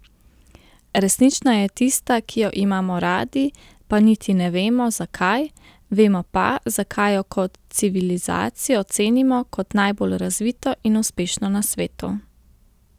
Resnična je tista, ki jo imamo radi, pa niti ne vemo, zakaj, vemo pa, zakaj jo kot civilizacijo cenimo kot najbolj razvito in uspešno na svetu.